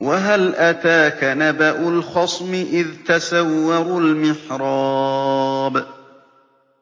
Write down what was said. ۞ وَهَلْ أَتَاكَ نَبَأُ الْخَصْمِ إِذْ تَسَوَّرُوا الْمِحْرَابَ